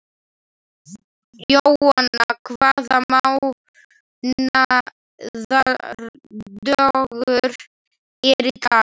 Jóanna, hvaða mánaðardagur er í dag?